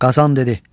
Qazan dedi: